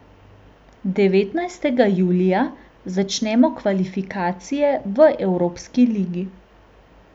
Devetnajstega julija začnemo kvalifikacije v evropski ligi.